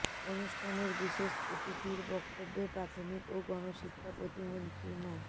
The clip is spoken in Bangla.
অনুষ্ঠানের বিশেষ অতিথির বক্তব্যে প্রাথমিক ও গণশিক্ষা প্রতিমন্ত্রী মো